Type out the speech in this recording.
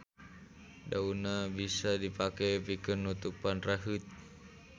Daunna bisa dipake pikeun nutupan raheut.